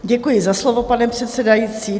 Děkuji za slovo, pane předsedající.